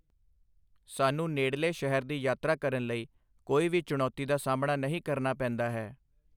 ਸਾਨੂੰ ਨੇੜਲੇ ਸ਼ਹਿਰ ਦੀ ਯਾਤਰਾ ਕਰਨ ਲਈ ਕੋਈ ਵੀ ਚੁਣੌਤੀ ਦਾ ਸਾਹਮਣਾ ਨਹੀਂ ਕਰਨਾ ਪੈਂਦਾ ਹੈ।